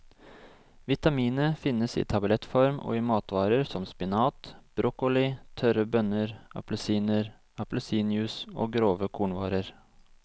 Vitaminet finnes i tablettform og i matvarer som spinat, broccoli, tørre bønner, appelsiner, appelsinjuice og grove kornvarer.